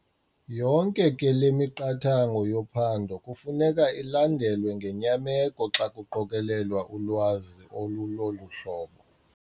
Yonke ke le miqathango yophando kufuneka ilandelwe ngenyameko xa kuqokolelwa ulwazi olu loluhlobo.